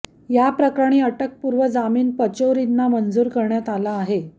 याप्रकरणी अटकपूर्व जामीन पचौरींना मंजूर करण्यात आला आहे